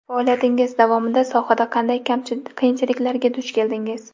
Faoliyatingiz davomida sohada qanday qiyinchiliklarga duch keldingiz?